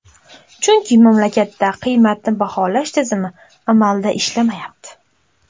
Chunki mamlakatda qiymatni baholash tizimi amalda ishlamayapti.